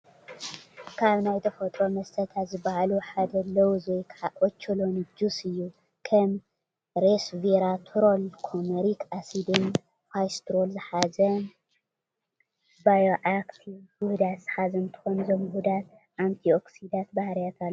ካብ ናይ ተፈጥሮ መስተታት ዝባሃሉ ሓደ ሎውዝ ወይ ከዓ ኦቾሎኒ ጁስ እዩ፡፡ ከም ሬስቬራትሮል፣ ኮመሪክ አሲድ ን ፋይቶስትሮል ዝሓዘ ባዮአክቲቭ ውሁዳት ዝሓዘ እንትኾን እዞም ውሁዳት አንቲኦክሲዳንት ባህሪያት አለዎም።